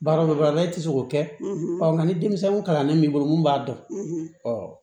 Baara e tɛ se k'o kɛ ɔ nka ni denmisɛnnin kalannen b'i bolo mun b'a dɔn